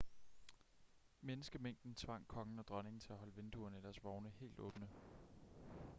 menneskemængden tvang kongen og dronningen til at holde vinduerne i deres vogn helt åbne